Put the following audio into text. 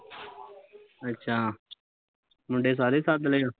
ਅੱਛਾ ਮੁੰਡੇ ਸਾਰੇ ਲੈ ਆ